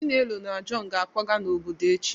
Chinelo na john ga-akwaga n'obodo echi.